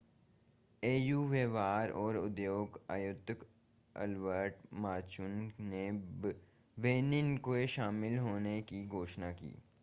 AU व्यापार और उद्योग आयुक्त अल्बर्ट मुचांगा ने बेनिन के शामिल होने की घोषणा की